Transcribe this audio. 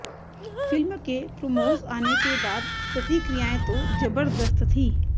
film के promos आने के बाद प्रतिक्रियाएं तो जबरदस्त थीं